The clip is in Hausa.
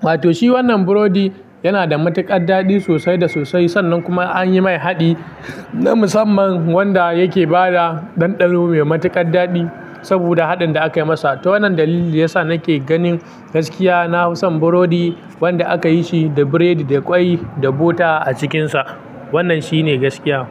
Wato shi wannan burodi yana da matuƙar daɗi sosai da sosai. Sannan kuma an yi mai haɗi na musamman wanda yake bada ɗanɗano mai matuƙar daɗi saboda haɗin da aka yi masa. To wannan dalili yasa nake ganin gaskiya na fi son burodi wanda aka yi shi da biredi, da ƙwai, da bota a cikinsa. Wannan shi ne gaskiya.